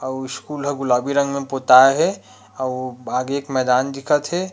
अउ स्कूल ह गुलाबी रंग में पोताए हे अउ आगे एक मैदान दिख थे।